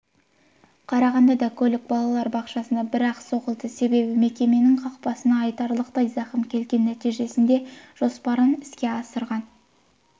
қарағандыда көлік балалар бақшасына бір-ақ соғылды себебі мекеменің қақпасына айтарлықтай зақым келген нәтижесінде жоспарын іске асырған